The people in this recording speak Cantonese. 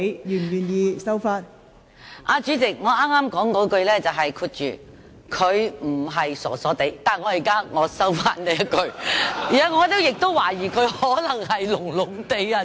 代理主席，我剛才是說"她不是傻傻地"，但我現在收回這一句，因為我懷疑她可能也是"聾聾地"。